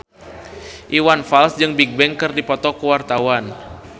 Iwan Fals jeung Bigbang keur dipoto ku wartawan